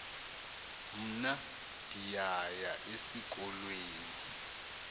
mna ndiyaya esikolweni